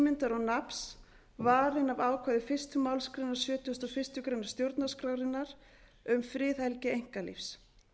sjálfsímyndar og nafns varinn af ákvæði fyrstu málsgrein sjötugustu og fyrstu grein stjórnarskrárinnar um friðhelgi einkalífs